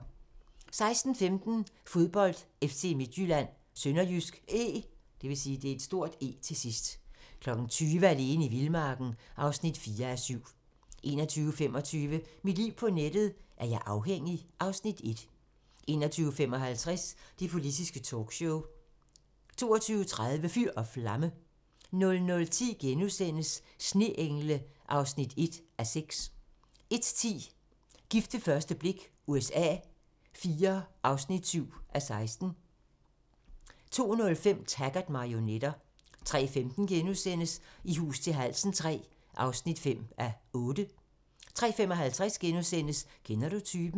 16:15: Fodbold: FC Midtjylland-SønderjyskE 20:00: Alene i vildmarken (4:7) 21:25: Mit liv på nettet: Er jeg afhængig? (Afs. 1) 21:55: Det politiske talkshow 22:30: Fyr og flamme 00:10: Sneengle (1:6)* 01:10: Gift ved første blik USA IV (7:16) 02:05: Taggart: Marionetter 03:15: I hus til halsen III (5:8)* 03:55: Kender du typen? *